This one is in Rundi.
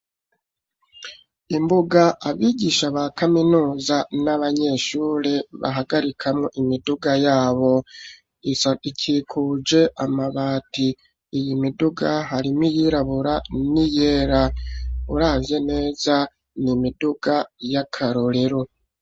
Imbuga abigisha ba kaminuza n'abanyeshuri bahagarikamo imiduga yabo ikikuje amabati. Iyi miduga harimo yirabura n'iyera urabye neza nimiduga y'akarorero.